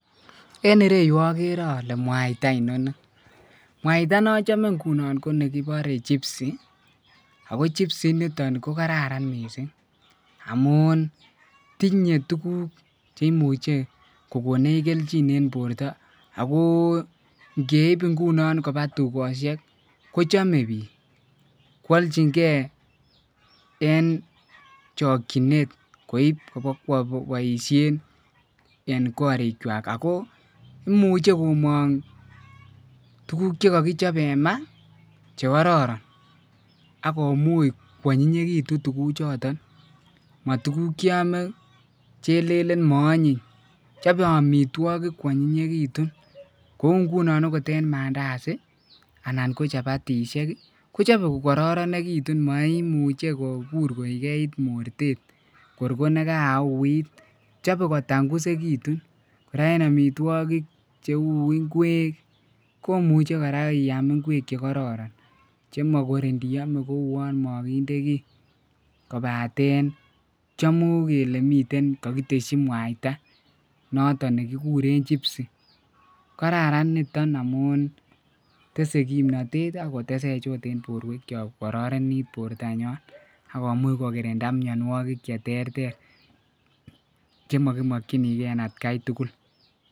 en ireyuu ogere ole mwaaita inoni, mwaita nonchome ingunon ko negiboree chipsi ako chipsi initon ko negararan mising' amuun tinye tuguk cheimuche kogoneech kelchin en borto agoo ngeib ngunon koba tugosheek kochome biik kwolchingee en chokyineet koib bogoboisheen en koriik chwaak, ago imuche gomoong tuguk chegogichobe en maa chegororon ak komuuch konyinyegitun tuuguk choton, motuguuk chon ilelen moonyiny chobe omitwogik kwonyinyegitun, kouu ngunon en mandasi anan ko chapatishek kochobe kogororegitun moimuche kogeigeit morteet monegauiit, chobe kotangusigitun, koraa en omitwogik cheu ngweek komuche koraa iaam ngweek chegororon chemagoor nioome kouwoon moginde kiiy kobaten chomu kele miten kogitesyi mwaaita noton negigureen chipsi, kararan niton amuun tese gimnotet aak koteseech oot en borweek chook kogororenit borto nyoon ak komuch kogirinda myonwogik cheterter chemogimokyinige en atkai tugul.